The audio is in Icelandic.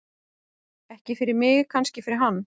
Ekki fyrir mig, kannski fyrir hann.